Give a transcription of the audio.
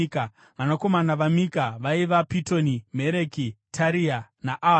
Vanakomana vaMika vaiva: Pitoni, Mereki Tarea, naAhazi.